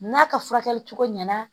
N'a ka furakɛli cogo ɲɛna